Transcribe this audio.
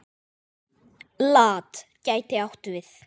LAT gæti átt við